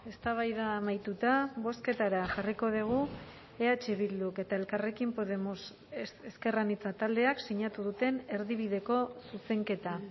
eztabaida amaituta bozketara jarriko dugu eh bilduk eta elkarrekin podemos ezker anitza taldeak sinatu duten erdibideko zuzenketa